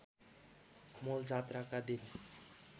मूल जात्राका दिन